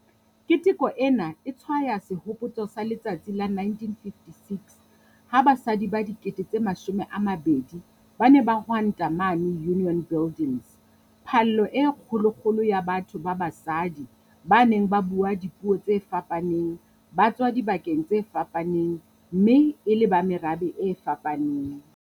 Keteko ena e tshwaya sehopotso sa letsatsi la 1956 ha basadi ba 20 000 ba ne ba hwanta mane Union Buildings - phallo e kgolokgolo ya batho ba basadi ba neng ba bua dipuo tse fapaneng, ba tswa dibakeng tse fapaneng mme e le ba merabe e fapaneng.